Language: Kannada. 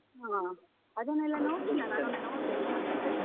ಹಾ ಅದನ್ನೆಲ್ಲ ನೋಡ್ಲಿಲ್ಲ ನಾನೊಮ್ಮೆ ನೋಡ್ಬೇಕು ಹಾಗಾದ್ರೆ.